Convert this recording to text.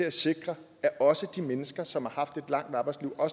at sikre at også de mennesker som har haft et langt arbejdsliv og